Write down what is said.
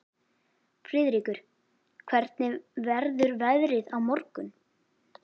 Friðríkur, hvernig verður veðrið á morgun?